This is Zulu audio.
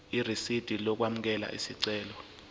irisidi lokwamukela isicelo